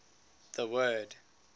the word